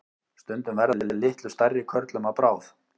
stundum verða þeir litlu stærri körlum að bráð